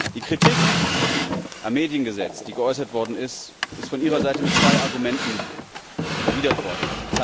Die Kritik am Mediengesetz, die geäußert worden ist, ist von Ihrer Seite mit zwei Argumenten erwidert worden.